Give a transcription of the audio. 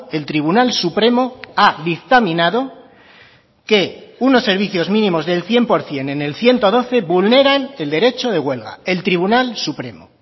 el tribunal supremo ha dictaminado que unos servicios mínimos del cien por ciento en el ciento doce vulneran el derecho de huelga el tribunal supremo